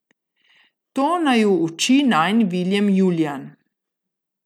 To naju uči najin Viljem Julijan.